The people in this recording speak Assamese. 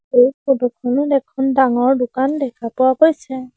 এই ফটো খনত এখন ডাঙৰ দোকান দেখা পোৱা গৈছে।